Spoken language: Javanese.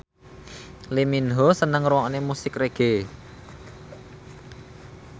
Lee Min Ho seneng ngrungokne musik reggae